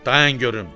Dayan görüm.